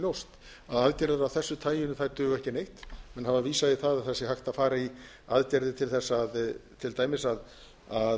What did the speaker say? ljóst að aðgerðir af þessu tagi duga ekki neitt menn hafa vísað í það að það sé hægt að fara í aðgerðir til þess að til dæmis að